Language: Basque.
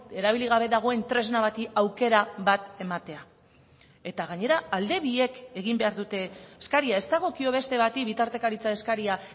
erabili gabe dagoen tresna bati aukera bat ematea eta gainera alde biek egin behar dute eskaria ez dagokio beste bati bitartekaritza eskaria